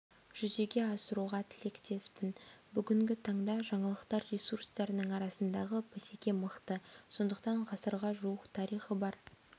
жүзеге асыруға тілектеспін бүгінгі таңда жаңалықтар ресурстарының арасындағы бәсеке мықты сондықтан ғасырға жуық тарихы бар